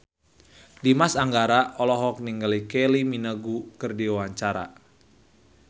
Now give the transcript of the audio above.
Dimas Anggara olohok ningali Kylie Minogue keur diwawancara